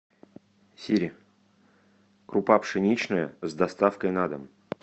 сири крупа пшеничная с доставкой на дом